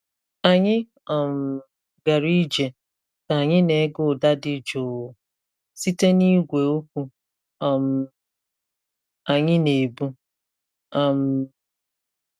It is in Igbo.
Anyị um gara ije ka anyị na-ege ụda dị jụụ site na igwe okwu um anyị na-ebu. um